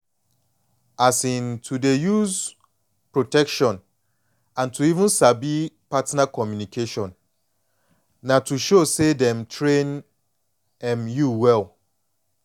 um to dey use protection and to even sabi partner communication na to show say dem train um you well